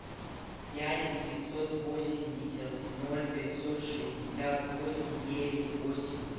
пять девятьсот восемьдесят ноль пятьсот шестьдесят восемь девять восемь